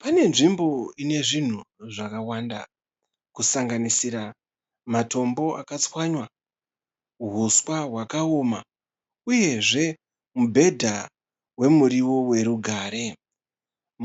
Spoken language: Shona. Pane nzvimbo ine zvinhu zvakawanda kusanganisira matombo akatswanywa, huswa hwakaoma uyezve mubhedha wemuriwo werugare.